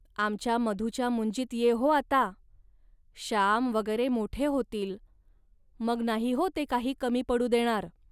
आमच्या मधूच्या मुंजीत ये हो आता. श्याम वगैरे मोठे होतील, मग नाही हो ते काही कमी पडू देणार